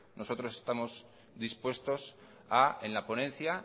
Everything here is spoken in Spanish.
nosotros estamos dispuestos a en la ponencia